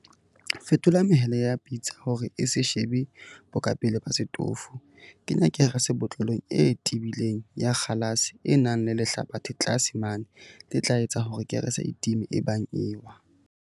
Fetola mehele ya pitsa hore e se shebe bokapeleng ba setofo Kenya kerese botlolong e tebileng ya kgalase e nang le lehlabathe tlase mane le tla etsa hore kerese e time ebang e ewa.